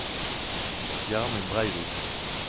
Gjermund Breivik